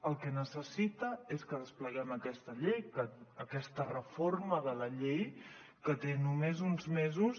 el que necessita és que despleguem aquesta llei aquesta reforma de la llei que té només uns mesos